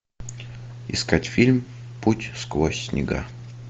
искать фильм путь сквозь снега